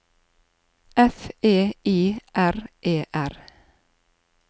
F E I R E R